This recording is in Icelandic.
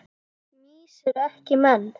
Mýs eru ekki menn